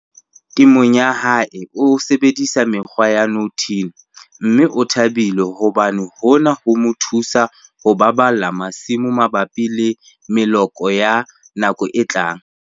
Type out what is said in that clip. Temong ya hae o sebedisa mekgwa ya no-till, mme o thabile hobane hona ho mo thusa ho baballa masimo mabapi le meloko ya nako e tlang.